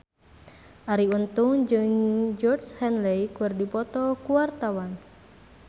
Arie Untung jeung Georgie Henley keur dipoto ku wartawan